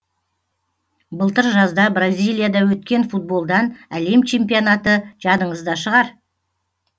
былтыр жазда бразилияда өткен футболдан әлем чемпионаты жадыңызда шығар